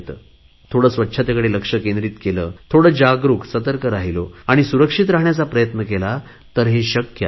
थोडे स्वच्छतेकडे लक्ष केंद्रित केले थोडे जागरुक सतर्क राहिलो आणि सुरक्षित राहण्याचा प्रयत्न केला तर हे शक्य आहे